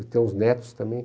E tem os netos também.